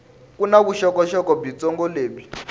ku na vuxokoxoko byitsongo lebyi